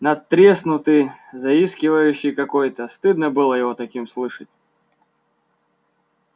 надтреснутый заискивающий какой-то стыдно было его таким слышать